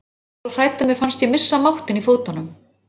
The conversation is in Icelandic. Ég var svo hrædd að mér fannst ég missa máttinn í fótunum.